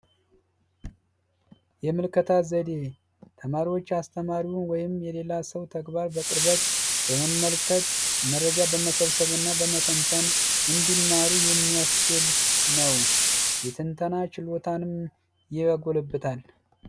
የምልከታ ዘዴ ተማሪዎች አስተማሪውን ወይም የሌላ ሰው ተግባር በቅርበት በመመልከት መረጃ በመሰብሰብ እና በመተንተን እንዲማሩ የሚያስችል ነው የተንተና ችሎታንም ያጎለብታል